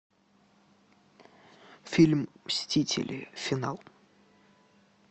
фильм мстители финал